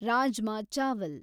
rajma ಚಾವಲ್